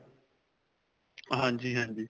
ਹਾਂਜੀ, ਹਾਂਜੀ.